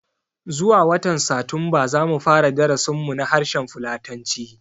Zuwa watan Satumba zamu fara darasin mu na harshen fulatanci